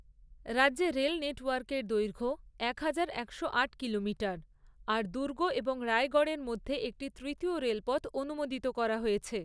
রাজ্যে রেল নেটওয়ার্কের দৈর্ঘ্য একহাজার, একশো আট কিলোমিটার, আর দুর্গ এবং রায়গড়ের মধ্যে একটি তৃতীয় রেলপথ অনুমোদিত করা হয়েছে।